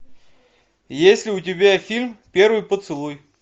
есть ли у тебя фильм первый поцелуй